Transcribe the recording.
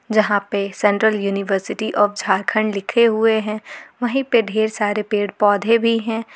जहां पे central university of Jharkhand लिखे हुए है वहीं पे ढेर सारे पेड़ पौधे भी है।